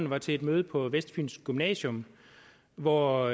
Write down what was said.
var til et møde på vestfyns gymnasium hvor